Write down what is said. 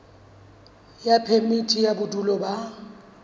ya phemiti ya bodulo ba